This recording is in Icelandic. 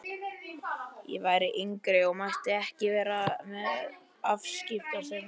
Ég var yngri og mátti ekki vera með afskiptasemi.